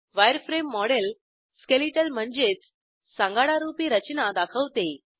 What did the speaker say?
wireframe model skeletal म्हणजेच सांगाडारूपी रचना दाखवते